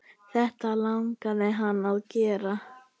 Þetta langaði hana að gera.